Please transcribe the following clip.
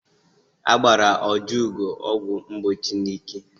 Agbara Ojiugo ọgwụ mgbochi n'ike.